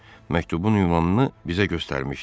Məktubun ünvanını bizə göstərmişdi.